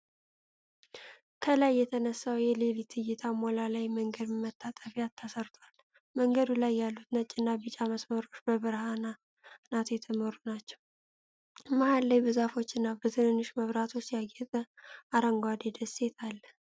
ከላይ የተነሳው የሌሊት እይታ ሞላላ የመንገድ መታጠፊያ ተሰርቷል። መንገድ ላይ ያሉት ነጭና ቢጫ መስመሮች በብርሃናት የተመሩ ናቸው። መሃል ላይ በዛፎችና በትናንሽ መብራቶች ያጌጠ አረንጓዴ ደሴት አለ።